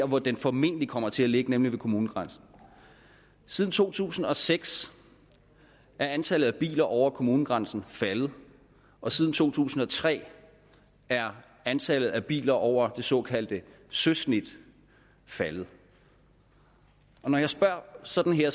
hvor den formentlig kommer til at ligge nemlig ved kommunegrænsen siden to tusind og seks er antallet af biler over kommunegrænsen faldet og siden to tusind og tre er antallet af biler over det såkaldte søsnit faldet når jeg spørger sådan her